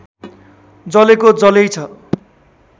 जलेको जल्यै छ